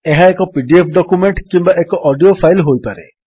ଏହା ଏକ PDF document କିମ୍ୱା ଏକ ଅଡିଓ ଫାଇଲ୍ ହୋଇପାରେ